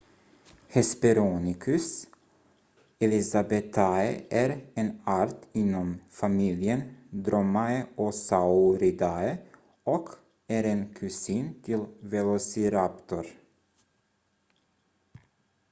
hesperonychus elizabethae är en art inom familjen dromaeosauridae och är en kusin till velociraptor